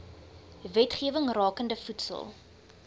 wetgewing rakende voedsel